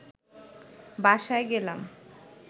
বাসায় গেলাম